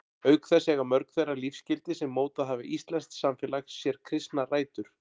Auk þess eiga mörg þau lífsgildi sem mótað hafa íslenskt samfélag sér kristnar rætur.